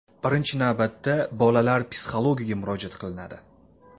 Birinchi navbatda bolalar psixologiga murojaat qilinadi.